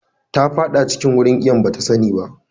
Ta faɗa cikin wurin iwon bata sani ba.